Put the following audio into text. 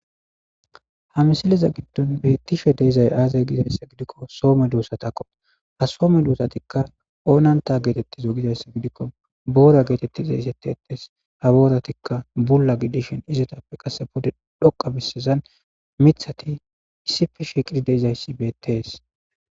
ha msileza giddon beettishe dee'izay aazay gizayssa gidikko soome duussatakko ha soome duusatikka oonanta geetettizo gizayssa gidikko boora geetettizaysetti ettes ha booratikka bula gidishen izetappe qasse pude dhoqa bisezan mithati issife sheqiri deizayssi beettees